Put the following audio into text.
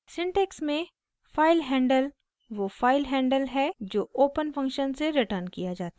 syntax में filehandle वो file handle है जो ओपन फंक्शन से रिटर्न किया जाता है